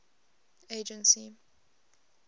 agency